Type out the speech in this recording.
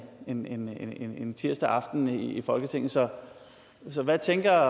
en en tirsdag aften i folketinget så hvad tænker